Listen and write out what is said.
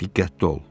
Diqqətli ol.